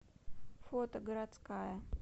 фото городская